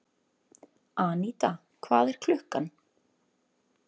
Aníta, hvað er klukkan?